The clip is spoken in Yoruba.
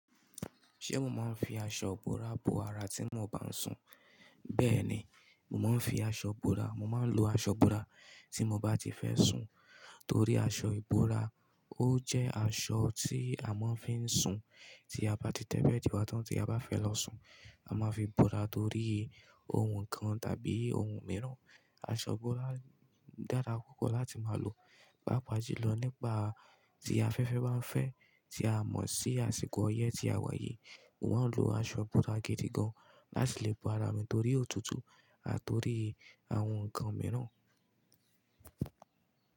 Ṣé mo máa ń fi aṣọ ìbora bo ara tí mo bá ń sùn? Bẹ́ẹ̀ ni, mo máa ń fi aṣọ ìbora, mo máa ń lo aṣọ ìbora tí mo bá ti fẹ́ sùn. Torí aṣọ ìbora ó jẹ́ aṣọ tí a máa ń fi ń sùn tí a bá ti tẹ́bẹ́ẹ̀díwa tán tí a bá fẹ́ lọ sùn. A máa fi ìbora torí ohun kan tàbí ohun mìíràn. Aṣọ ìbora dára púpọ̀ láti máa lò, pàápàá jùlọ nípa tí a fẹ́fẹ́ bá ń fẹ́ tí a mọ̀ sí àsìkò ọyẹ́ tí a wáyi. Wọ́n ń lo aṣọ ìbora gidi gan láti lè bo ara torí òtútù àti torí àwọn nǹkan mìíràn.